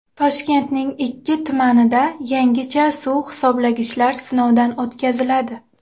Toshkentning ikki tumanida yangicha suv hisoblagichlar sinovdan o‘tkaziladi.